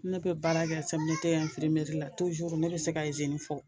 Ne bɛ baara kɛ CMDT la ne bɛ se ka izini fɔ,